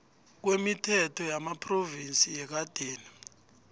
kwemithetho yamaphrovinsi yekadeni